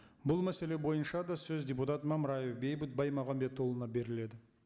бұл мәселе бойынша да сөз депутат мамраев бейбіт баймағамбетұлына беріледі